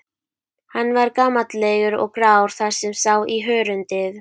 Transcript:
Hann var gamallegur og grár þar sem sá í hörundið.